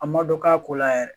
A ma dɔn k'a ko la yɛrɛ